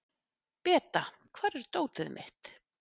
Beta, hvar er dótið mitt?